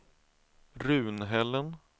Runhällen